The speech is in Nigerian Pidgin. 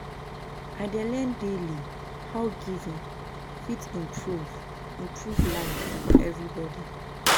I dey learn daily how giving fit improve improve life for everybody.